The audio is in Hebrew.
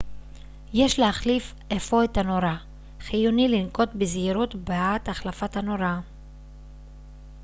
יש להחליף אפוא את הנורה חיוני לנקוט בזהירות בעת החלפת הנורה